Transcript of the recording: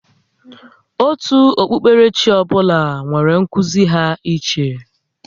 Òtù okpukpere chi ọ bụla nwèrè nkuzi ha iche